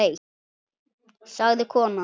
sagði konan.